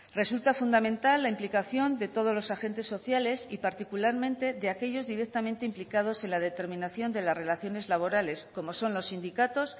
resulta fundamental la implicación de todos los agentes sociales y particularmente de aquellos directamente implicados en la determinación de las relaciones laborales como son los sindicatos